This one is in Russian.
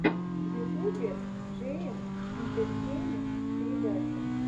в ютубе джейэм интертеймент передача